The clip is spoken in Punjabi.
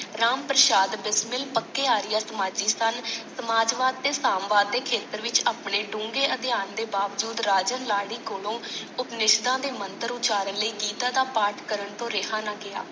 ਰਾਮਪ੍ਰਸ਼ਾਦ ਬਿਸਮਿਲ ਪੱਕੇ ਆਰੀਆ ਸਮਾਜੀ ਸਨ ਸਮਾਜਵਾਦ ਤੇ ਸਾਮਵਾਦ ਦੇ ਖ਼ੇਤਰ ਵਿਚ ਅਪਣੇ ਡੂੰਘੇ ਅਧਿਐਨ ਦੇ ਬਾਵਜੂਦ ਰਾਜਨ ਲਾਡੀ ਕੋਲੋ ਉਪਨਿਸ਼ਦਾਂ ਦੇ ਮੰਤਰ ਉੱਚਾਰਣ ਲਈ ਗੀਤਾ ਦਾ ਪਾਠ ਕਰਨ ਤੋਂ ਰਿਹਾ ਨਾ ਗਿਆ।